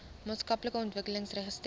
maatskaplike ontwikkeling registreer